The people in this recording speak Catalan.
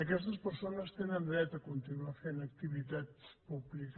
aquestes persones tenen dret a continuar fent activitat pública